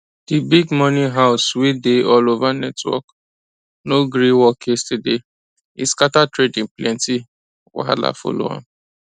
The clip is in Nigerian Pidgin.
di big money house wey dey all over network no gree work yesterday e scatter trading plenty wahala follow am